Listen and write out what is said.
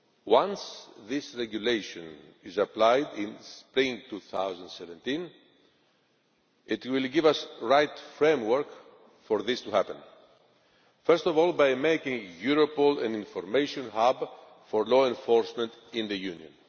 Once this regulation is applied in spring 2017, it will give us the right framework for this to happen, first of all, by making Europol an information hub for law enforcement in the Union.